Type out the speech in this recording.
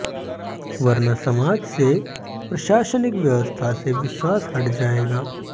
वरना समाज से प्रशासनिक व्यवस्था से विश्वास हट जाएगा